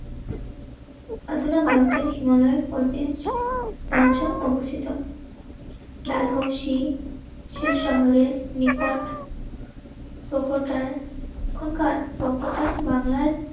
পাঞ্জাবের অধুনা ভারতের হিমালয় পড়বে পাঁচজন অবস্থিত ডালহৌসি শিল শহরের নিকট প্রকোপকার এখনকার প্রকোপটা বাংলার